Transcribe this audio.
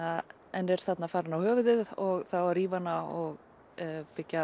en er þarna farin á höfuðið og það á að rífa hana og byggja